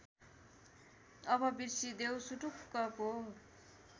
अब बिर्सिदेऊ सुटुक्कको